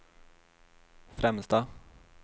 främsta